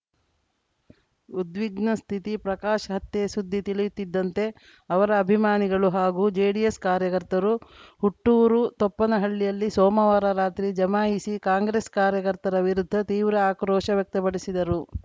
ಉದ್ವಿಗ್ನ ಸ್ಥಿತಿ ಪ್ರಕಾಶ್‌ ಹತ್ಯೆ ಸುದ್ದಿ ತಿಳಿಯುತ್ತಿದ್ದಂತೆ ಅವರ ಅಭಿಮಾನಿಗಳು ಹಾಗೂ ಜೆಡಿಎಸ್‌ ಕಾರ್ಯಕರ್ತರು ಹುಟ್ಟೂರು ತೊಪ್ಪನಹಳ್ಳಿಯಲ್ಲಿ ಸೋಮವಾರ ರಾತ್ರಿ ಜಮಾಯಿಸಿ ಕಾಂಗ್ರೆಸ್‌ ಕಾರ್ಯಕರ್ತರ ವಿರುದ್ಧ ತೀವ್ರ ಆಕ್ರೋಶ ವ್ಯಕ್ತಪಡಿಸಿದರು